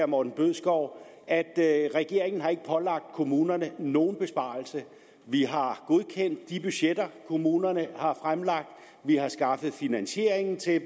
morten bødskov at regeringen ikke har pålagt kommunerne nogen besparelse vi har godkendt de budgetter kommunerne har fremlagt vi har skaffet finansieringen til